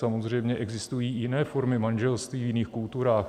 Samozřejmě existují i jiné formy manželství v jiných kulturách.